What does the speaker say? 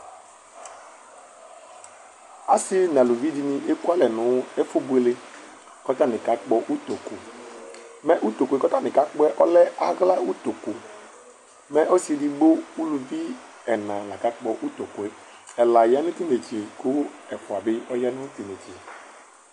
ase n'aluvi dini eku alɛ no ɛfu boele k'atani kakpɔ utoku mɛ utokue k'atani kakpɔɛ ɔlɛ ala utoku mɛ ɔse edigbo uluvi ɛna la kakpɔ utokue ɛla ya no t'inetse kò ɛfua bi ya no t'inetse